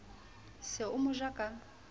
se o mo ja ka